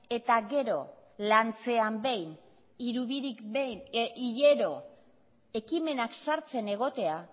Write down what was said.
eta gero lantzean behin hilero ekimenak sartzen egotea